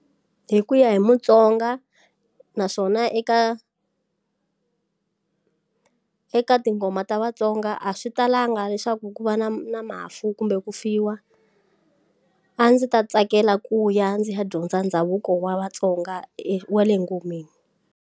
Hi ku ya hi mutsonga naswona eka eka tinghoma ta vatsonga a swi talanga leswaku ku va na na mafu kumbe ku fiwa a ndzi ta tsakela ku ya ndzi ya dyondza ndhavuko wa vatsonga e wa le ngomeni.